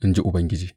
in ji Ubangiji.